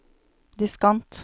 diskant